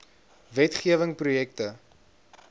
wet gewing projekte